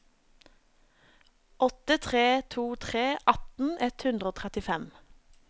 åtte tre to tre atten ett hundre og trettifem